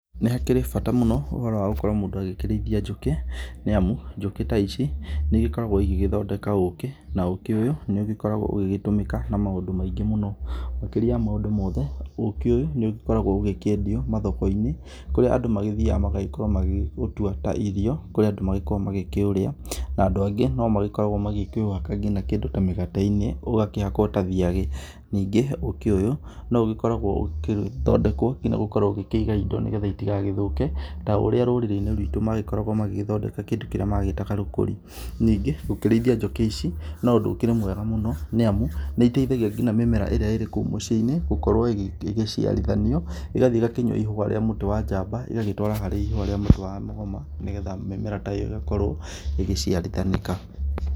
Nĩ hakĩrĩ bata mũno ũhoro wa gũkorwo mũndũ agĩkĩrĩithia njũkĩ, nĩ amu njũkĩ ta ici, nĩ igĩkoragwo igĩgĩthondeka ũkĩ, na ũkĩ ũyũ, nĩ ũgĩkoragwo ũgĩgĩtũmĩka na maũndũ maingĩ mũno. Makĩria ya maũndũ mothe, ũkĩ ũyũ nĩ ũkoragwo ũgĩkĩendio mathoko-inĩ, kũrĩa andũ magĩthiaga magagĩkorwo magĩũtwa ta irio, kũrĩa andũ magĩkoragwo magĩkĩũrĩa. Andũ angĩ no makoragwo magĩkĩũhaka nginya kĩndũ ta mĩgate-inĩ, ũgakĩhakwo na thiagĩ. Ningĩ ũkĩ ũyũ, no ũgĩkoragwo ũgĩthondekwo nginya gũkorwo ũgĩkĩiga indo nĩgetha itigagĩthũke, ta ũrĩa rũrĩrĩ-inĩ rwitũ magĩkoragwo magĩgĩthondeka kĩndũ kĩrĩa magĩtaga rũkũri. Ningĩ, gũkĩrĩithia njũkĩ ici, no ũndũ ũkĩrĩ mwega mũno, nĩ amu, nĩ iteithagia nginya mĩmera ĩrĩa ĩrĩ kũu mũciĩ-inĩ, gũkorwo ĩgĩciarithanio, ĩgathiĩ ĩgakĩnyua ihũa rĩa mũtĩ wa njamba, ĩgagĩtwara harĩ ihũa rĩa mũtĩ wa mũgoma, nĩgetha mĩmera ta ĩyo ĩgakorwo ĩgĩciarithanĩka.